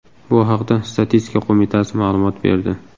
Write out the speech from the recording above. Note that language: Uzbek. Bu haqda Statistika qo‘mitasi ma’lumot berdi .